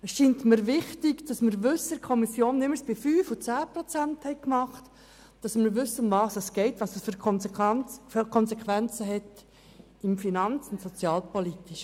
Es scheint mir wichtig, dass wir seitens der Kommission wissen, worum es geht und welche finanz- und sozialpolitischen Konsequenzen zu erwarten sind – so wie wir es betreffend die Kürzungsanträge um 5 und 10 Prozent gehandhabt haben.